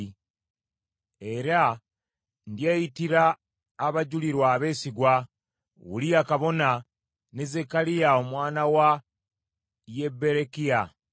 Ne ndyoka neeyitira abajulirwa abeesigwa, Uliya kabona, ne Zekkaliya omwana wa Yeberekiya.